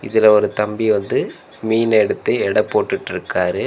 இதுல ஒரு தம்பி வந்து மீன எடுத்து எட போட்டுட்ருக்காரு.